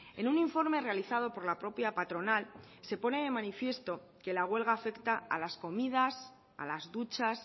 en un informe realizado por la propia patronal se pone de manifiesto que la huelga afecta a las comidas a las duchas